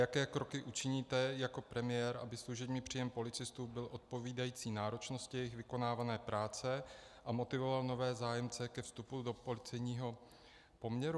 Jaké kroky učiníte jako premiér, aby služební příjem policistů byl odpovídající náročnosti jejich vykonávané práce a motivoval nové zájemce ke vstupu do policejního poměru?